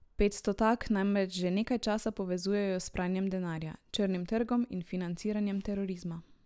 Petstotak namreč že nekaj časa povezujejo s pranjem denarja, črnim trgom in financiranjem terorizma.